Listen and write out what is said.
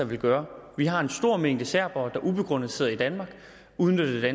vil gøre vi har en stor mængde serbere der ubegrundet sidder i danmark udnytter